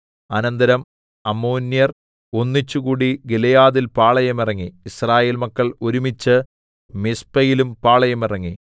അനന്തരം അമ്മോന്യർ ഒന്നിച്ചുകൂടി ഗിലെയാദിൽ പാളയമിറങ്ങി യിസ്രായേൽ മക്കൾ ഒരുമിച്ച് മിസ്പയിലും പാളയമിറങ്ങി